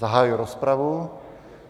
Zahajuji rozpravu.